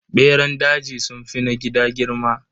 Beran daji sunfi na gida girma.